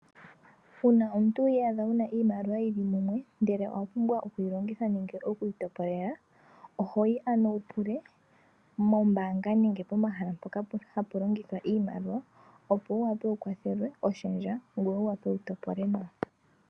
Uuna omuntu wi iyadha wu na iimaliwa yi li mumwe ndele owa pumbwa oku yi longitha nenge oku yi topolela oho yi ano wu pule mombaanga nenge pomahala mpoka hapu longithwa iimaliwa opo wu wape wu kwathelwe oshendja ngoye wu wape wu topole nawa.